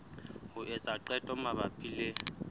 ho etsa qeto mabapi le